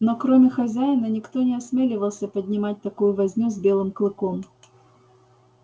но кроме хозяина никто не осмеливался поднимать такую возню с белым клыком